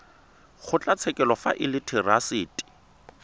kgotlatshekelo fa e le therasete